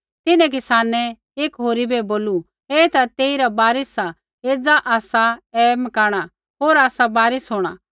तिन्हैं किसानै एकी होरी बै बोलू ऐ ता तेइरा वारिस सा एज़ा आसा ऐ मारना होर आसा वारिस होंणा